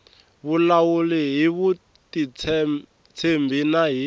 vulavula hi vutitshembi na hi